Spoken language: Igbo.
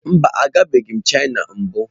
Mba, agabeghị m Chịna mbụ.